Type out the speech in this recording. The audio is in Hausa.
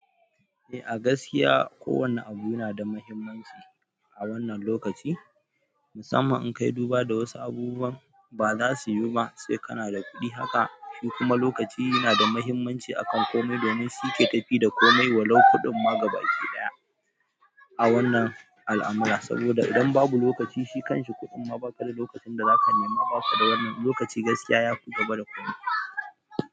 Eh a gaskiya ko wanne abu yana da muhimmanci a wannan lokaci, musamman in kayi duba da wasu abubuwan ba za su yi ba sai kana da kuɗi. Haka shi kuma lokaci yana da muhimmanci akan komai domin shi yake tafi da komai walau kuɗin ma gabaki ɗaya a wannan al'amura saboda idan babu lokaci shi kan shi kuɗin ma ba ka da lokacin da za ka nema ba ka da wannan lokaci gaskiya ya fi gaba da komai.